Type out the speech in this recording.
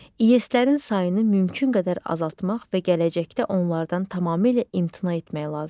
İES-lərin sayını mümkün qədər azaltmaq və gələcəkdə onlardan tamamilə imtina etmək lazımdır.